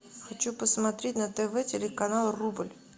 хочу посмотреть на тв телеканал рубль